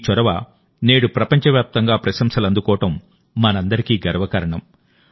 ఈ చొరవ నేడు ప్రపంచ వ్యాప్తంగా ప్రశంసలు అందుకోవడం మనందరికీ గర్వకారణం